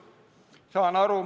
Saan aru.